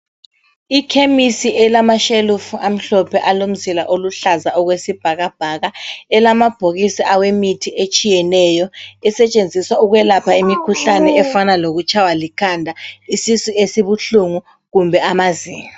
I khemisi elamashelufu amhlophe alomzila oluhlaza okwesibhakabhaka, elamabhokisi awemithi etshiyeneyo esetshenziswa ukwelapha imikhuhlane efana lokutshaywa likhanda, isisu esibuhlungu kumbe amazinyo.